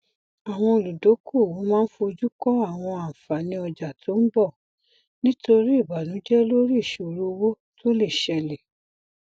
àwọn olùdokoowó máa ń foju kọ àwọn àǹfààní ọjà tó ń bọ nítorí ìbànújẹ lórí ìṣòro owó tó lè ṣẹlẹ